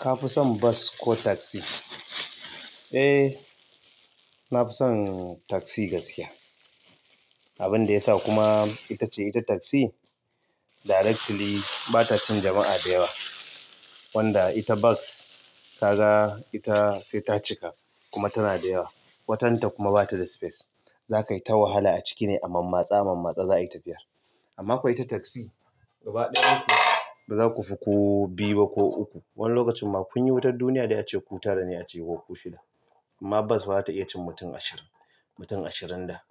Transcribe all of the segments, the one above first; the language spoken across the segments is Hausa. Ka fi son bas ko taksi? Eh, na fi son taksi gaskiya. Abun da yasa kuma ita ce ita taksi directly bata cin jama'a da yawa. Wanda ita bas ka ga ita sai ta cika kuma tana da yawa. Watanta kuma bata da space. Za ka yi ta wahala a ciki ne a mammatse a mammatse za a yi tafiyar. Amma ko ita taksi gaba ɗaya ba za ku fi ku biyu ba ko uku. Wani lokacin ma kun yi wutar duniya dai ace ku tara ne aciki ko ku shida. Amma bas ba za ta iya cin mutum ashirin. Mutum ashirin da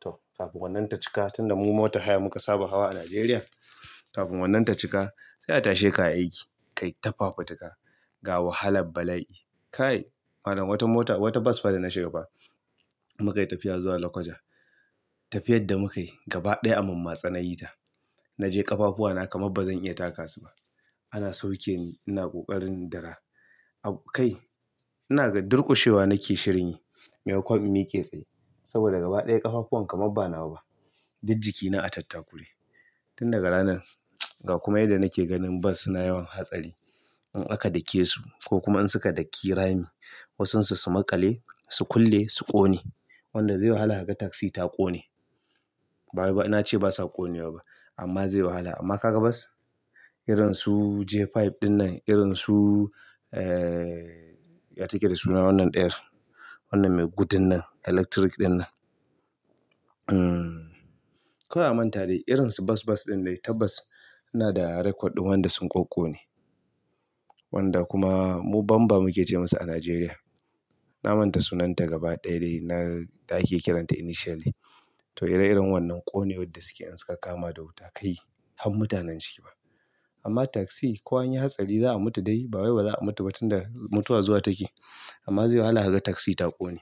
toh kafin wannan ta cika tun da mu motar haya muka saba hawa a Najeriya. Kafin wannan ta cika sai a tashe ka aiki ka yi ta fafutuka ga wahalar bala'i. Kai, malam wata mota wata bas fa da na shiga ba muka yi tafiya zuwa Lakwaja. Tafiyar da muka yi gaba ɗaya a mammatse na yi ta. Naje ƙafafuwa na kamar bazan iya taka su ba ana saukeni ina ƙoƙarin in dira abokai ina ga durƙushewa nake shirin yi maimakwan in miƙe tsaye. Saboda gaba ɗaya ƙafafuwan kamar ba nawa ba. Dik jikina a tattakure. Tun daga ranan ga kuma yadda nake ganin bas suna yawan hatsari. In aka dake su ko kuma in suka ɗaki rami wasun su, su maƙale, su kulle, su ƙone wanda zai wahala kaga taksi ta ƙone. Ba wai na ce basa ƙonewa ba amma zai wahala. Amma ka ga bas irin su J biyar ɗinnan, irin su eh ya take da suna wannan ɗayar. Wannan mai gudun nan electric ɗinnan. Hmm kawai a manta dai irin su bas bas ɗin dai tabbas ina da record ɗin wanda sun ƙoƙƙone. Wanda kuma mu bamba muke ce masu a Najeriya. Na manta sunanta gaba ɗaya dai na da ake kiranta initially. Toh ire-iren wannan ƙonewar da suke in suka kama da wuta kai han mutanen ciki ma. Amma taksi ko anyi hatsari za'a mutu dai ba wai ba za'a mutu ba tunda mutuwa zuwa take. Amma zai wahala kaga taksi ta ƙone.